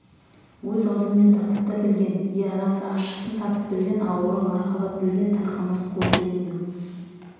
өз аузымен татып та білген иә рас ащысын татып білген ауырың арқалап білген тарқамас қу түйіннің